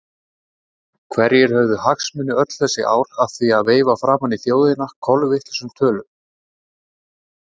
Hverjir höfðu hagsmuni öll þessi ár af því að veifa framan í þjóðina kolvitlausum tölum?